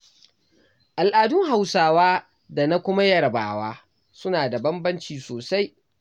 Al'adun Hausawa da na kuma yarabawa, suna da bambanci sosai.